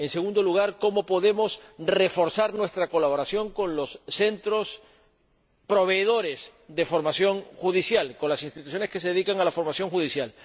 En segundo lugar, cómo podemos reforzar nuestra colaboración con los centros proveedores de formación judicial, con las instituciones que se dedican a la formación judicial.